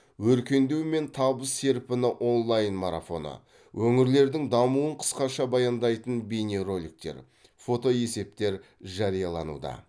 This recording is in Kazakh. өркендеу мен табыс серпіні онлайн марафоны өңірлердің дамуын қысқаша баяндайтын бейнероликтер фотоесептер жариялануда